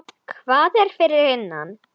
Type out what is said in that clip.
Hvað er fyrir innan?